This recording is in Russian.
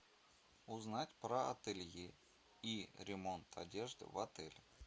узнать про ателье и ремонт одежды в отеле